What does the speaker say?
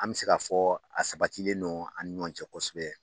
An mɛ se ka fɔ a sabatilen no an ni ɲɔn cɛ kosɛbɛ.